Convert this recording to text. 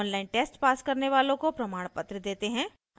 online test pass करने वालों को प्रमाणपत्र देते हैं